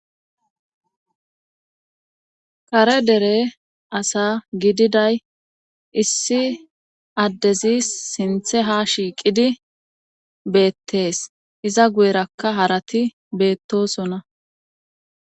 Kare dere asa gididay issi addezi sinthe ha shiiqidi beettees iza guyerakka harati beettosona.